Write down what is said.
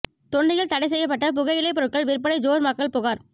தொண்டியில் தடை ெசய்யப்பட்ட புகையிலை பொருட்கள் விற்பனை ஜோர் மக்கள் புகார்